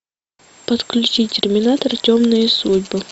подключи терминатор темные судьбы